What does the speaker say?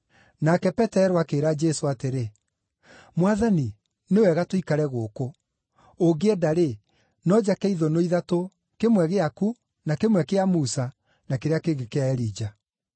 Nake Petero akĩĩra Jesũ atĩrĩ, “Mwathani, nĩ wega tũikare gũkũ; ũngĩenda-rĩ, no njake ithũnũ ithatũ, kĩmwe gĩaku, na kĩmwe kĩa Musa, na kĩrĩa kĩngĩ kĩa Elija.”